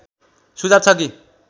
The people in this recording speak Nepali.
सुझाव छ कि